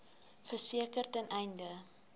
verseker ten einde